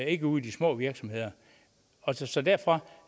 ikke ude i de små virksomheder så derfor